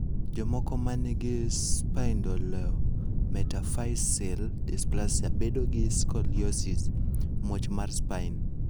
Jomoko ma nigi spondylometaphyseal dysplasia bedo gi scoliosis (muoch mar spine).